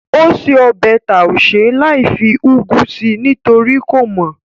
Ó se ọbẹ̀ taushe láìfi úgú sí nítorí kò mọ̀